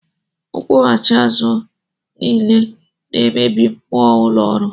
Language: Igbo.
Nkwughachi azụ a niile na-emebi mmụọ ụlọ ọrụ